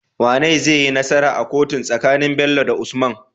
Wane zaiyi nasara a kotu tsakanin Bello da usman?